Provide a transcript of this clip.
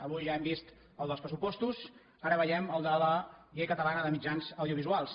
avui ja hem vist el dels pressupostos ara veiem el de la llei catalana de mitjans audiovisuals